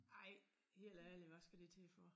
Ej helt ærligt hvad skal det til for